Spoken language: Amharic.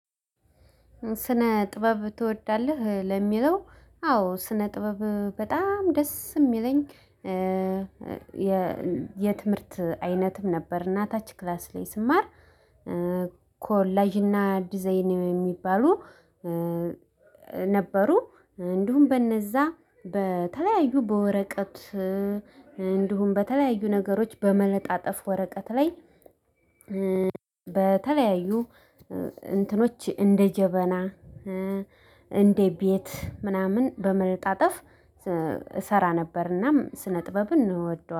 ስነ ጥበብ ትወዳለህ ለሚለው አዎ ስነ ጥበብ በጣም ደስ የሚለኝ የትምህርት አይነትም ነበር እና ታች ክላስ ላይ ስማር ኮላጅና ዲዛይን የሚባሉ ነበሩ፤ እንዲሁም በነዛ በተለያዩ በወረቀት እንዲሁም በተለያዩ ነገሮች በመለጣጠፍ ወረቀት ላይ በተለያዩ እንትኖች እንደ ጀበና እንደ ቤት ምናምን በመለጣጠፍ እሰራ ነበርናም ስነ ጥበብን እወደዋለሁ።